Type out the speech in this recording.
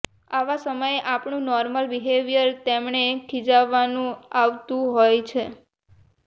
આવા સમયે આપણું નોર્મલ બિહેવિયર તેમને ખિજાવવા નું આવતું હોઈ છે